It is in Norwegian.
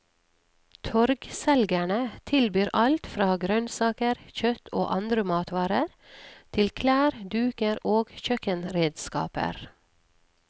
Torgselgerne tilbyr alt fra grønnsaker, kjøtt og andre matvarer, til klær, duker og kjøkkenredskaper.